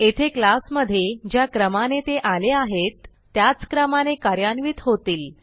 येथे क्लास मधे ज्या क्रमाने ते आले आहेत त्याच क्रमाने कार्यान्वित होतील